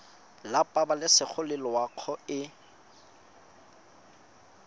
la pabalesego le loago e